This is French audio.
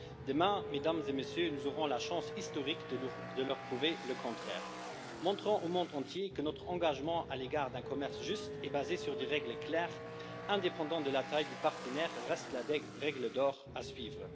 Demain, Mesdames et Messieurs, nous aurons la chance historique de leur prouver le contraire, montrant au monde entier que notre engagement au regard d'un commerce juste et basé sur des règles claires, indépendamment de la taille du partenaire, reste la règle d'or à suivre.